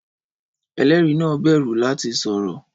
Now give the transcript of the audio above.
Ẹlẹ́rìí náà bẹ̀rù láti sọ̀rọ̀